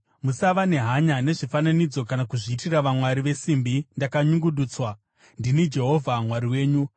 “ ‘Musava nehanya nezvifananidzo kana kuzviitira vamwari vesimbi dzakanyungudutswa. Ndini Jehovha Mwari wenyu.